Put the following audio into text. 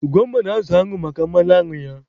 Ugomma na-azụ añụ maka mmanụ añụ ya.